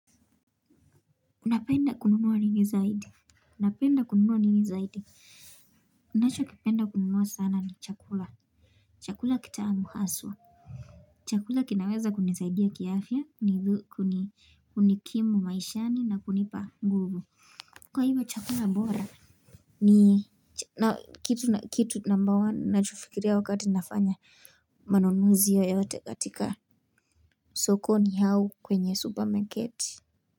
Napenda kununua nini zaidi? Unapenda kununua nini zaidi? Nacho kipenda kununua sana ni chakula. Chakula kitamu haswa. Chakula kinaweza kunisaidia kiafya kunikimu maishani na kunipa nguvu. Kwa hivyo chakula bora? Ni kitu na kitu namba one nacho fikiria wakati nafanya manunuzi yoyote katika. Sokoni au kwenye supermarket.